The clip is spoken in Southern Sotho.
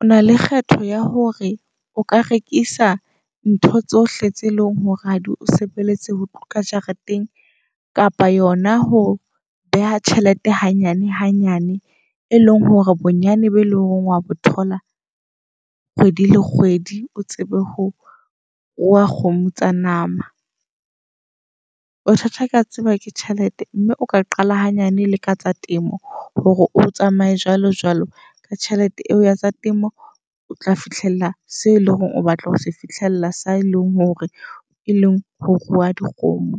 O na le kgetho ya hore o ka rekisa ntho tsohle tse leng hore ha di o sebeletse ho ka jareteng kapa yona ho beha tjhelete hanyane hanyane. E leng hore bonyane be leng hore wa bo thola kgwedi le kgwedi, o tsebe ho rua kgomo tsa nama. Ho kea tseba ke tjhelete mme o ka qala hanyane le ka tsa temo hore o tsamaye jwalo jwalo ka tjhelete eo ya tsa temo. O tla fihlella seo eleng hore o batla ho se fihlella sa e leng hore e leng ho rua dikgomo